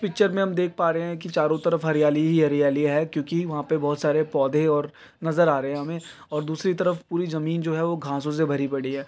Picture में हम देख पा रहे हैं कि चारों तरफ हरियाली ही हरियाली है क्योंकि वहां पे बहुत सारे पौधे और नजर आ रहे हैं हमें और दूसरी तरफ पूरी जमीन जो है वो घासों से भरी पड़ी है।